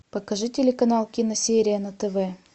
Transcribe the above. покажи телеканал киносерия на тв